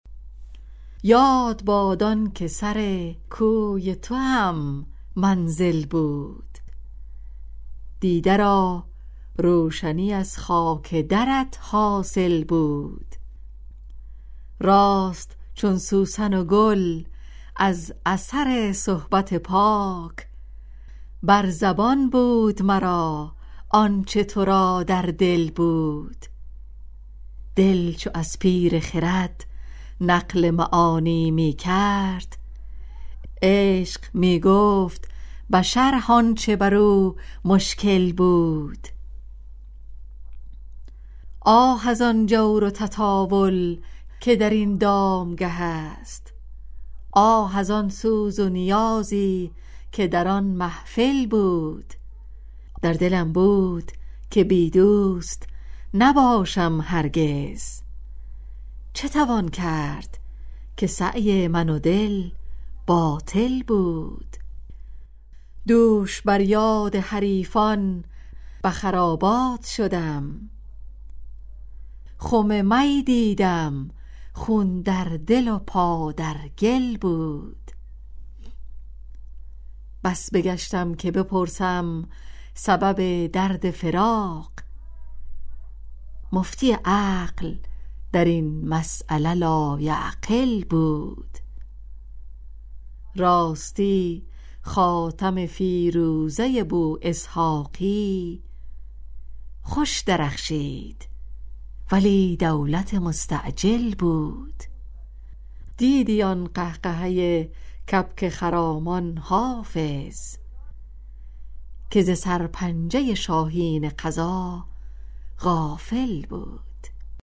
یاد باد آن که سر کوی توام منزل بود دیده را روشنی از خاک درت حاصل بود راست چون سوسن و گل از اثر صحبت پاک بر زبان بود مرا آن چه تو را در دل بود دل چو از پیر خرد نقل معانی می کرد عشق می گفت به شرح آن چه بر او مشکل بود آه از آن جور و تطاول که در این دامگه است آه از آن سوز و نیازی که در آن محفل بود در دلم بود که بی دوست نباشم هرگز چه توان کرد که سعی من و دل باطل بود دوش بر یاد حریفان به خرابات شدم خم می دیدم خون در دل و پا در گل بود بس بگشتم که بپرسم سبب درد فراق مفتی عقل در این مسأله لایعقل بود راستی خاتم فیروزه بواسحاقی خوش درخشید ولی دولت مستعجل بود دیدی آن قهقهه کبک خرامان حافظ که ز سرپنجه شاهین قضا غافل بود